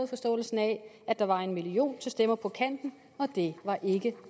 forståelsen af at der var en million kroner til stemmer på kanten og det var ikke